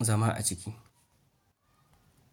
zama a ciki.